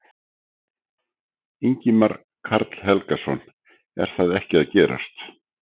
Ingimar Karl Helgason: Er það ekki að gerast?